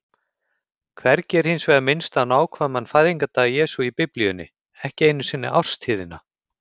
Hvergi er hins vegar minnst á nákvæman fæðingardag Jesú í Biblíunni, ekki einu sinni árstíðina.